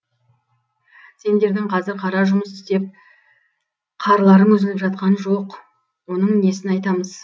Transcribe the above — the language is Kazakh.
сендердің қазір қара жұмыс істеп қарларың үзіліп жатқан жоқ оның несін айтамыз